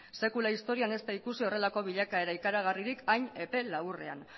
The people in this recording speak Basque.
sekula historian ez da ikusi horrelako bilakaera ikaragarririk hain epe laburrean